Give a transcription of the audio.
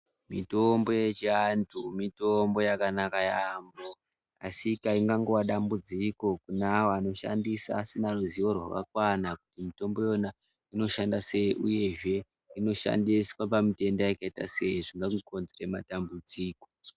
Mitombo yechiantu mitombo yakanaka yambo asi painongova dambudziko kune awo anoshandisa asina ruzivo rwakakwana kumitombo yona inoshanda sei uyezve inoshandiswa pamitenda yakaita sei zvisatikonzera matambudziko.